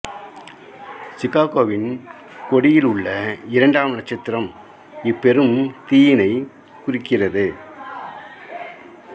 சிகாகோவின் கொடியில் உள்ள இரண்டாம் நட்சத்திரம் இப் பெரும் தீயினைக் குறிக்கிறது